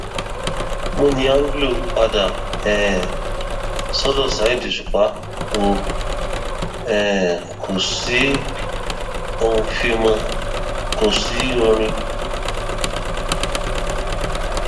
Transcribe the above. múni anglo padà um sọdọ saheed òṣùpá o um kò sí oufimo kò sí orin